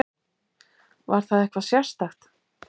Var það eitthvað sérstakt?